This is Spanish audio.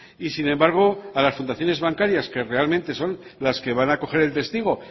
y sin embargo a las fundaciones bancarias que realmente son las que van a coger el testigo